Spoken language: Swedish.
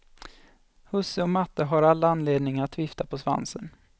Husse och matte har all anledning att vifta på svansen.